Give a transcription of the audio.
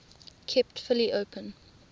kept fully open